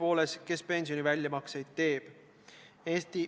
Komisjonis saadi selle vajadusest aru ja oldi sellega nõus.